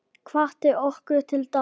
Hvatti okkur til dáða.